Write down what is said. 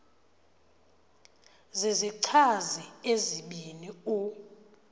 zizichazi ezibini u